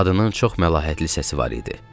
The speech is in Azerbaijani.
Qadının çox məlahətli səsi var idi.